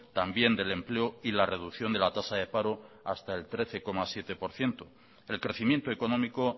también del empleo y la reducción de la tasa de paro hasta el trece coma siete por ciento el crecimiento económico